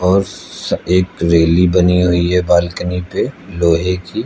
और एक रैली बनी हुई है बालकनी पे लोहे की।